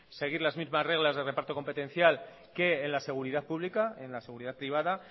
seguir las mismas reglas de reparto competencial que en la seguridad pública en la seguridad privada